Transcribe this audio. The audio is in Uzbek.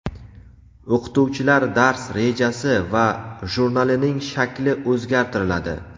o‘qituvchilar dars rejasi va jurnalining shakli o‘zgartiriladi.